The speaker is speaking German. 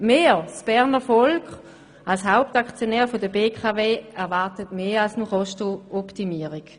Wir, das Berner Volk als Hauptaktionär der BKW, erwarten mehr als nur eine Kostenoptimierung.